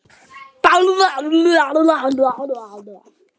Hann lést í kjölfar þess.